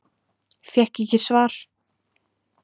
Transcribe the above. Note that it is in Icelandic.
Fékk ekki svar